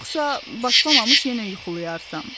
Yoxsa başlamamış yenə yuxulayarsan.